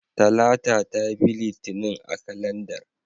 Talata ta bi Litinin a kalandar.